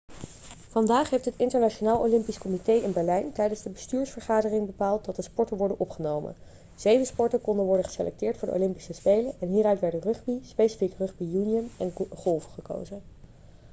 vandaag heeft het internationaal olympisch comité in berlijn tijdens de bestuursvergadering bepaald dat de sporten worden opgenomen zeven sporten konden worden geselecteerd voor de olympische spelen en hieruit werden rugby specifiek rugby union en golf gekozen